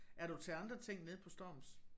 Er du til andre ting nede på Storms?